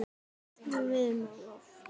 Veðrun og rof